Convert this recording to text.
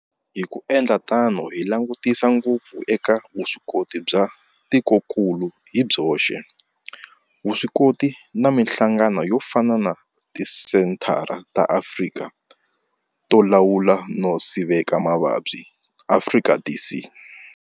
Hi ku endla tano hi langutisa ngopfu eka vuswikoti bya tikokulu hi byoxe, vuswikoti na mihlangano yo fana na Tisenthara ta Afrika to Lawula no Sivela Mavabyi, Afrika CDC.